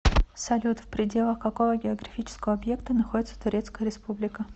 салют в пределах какого географического объекта находится турецкая республика